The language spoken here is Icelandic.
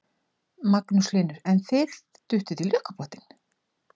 Magnús Hlynur: En þið duttuð í lukkupottinn?